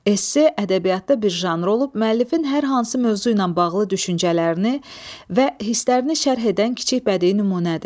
Esse ədəbiyyatda bir janr olub müəllifin hər hansı mövzu ilə bağlı düşüncələrini və hislərini şərh edən kiçik bədii nümunədir.